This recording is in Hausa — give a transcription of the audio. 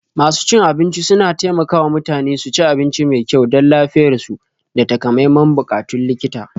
Masu cin abinci suna taimaka wa mutane su ci abinci mai kyau don lafiyarsu da takamaiman buƙatun likita.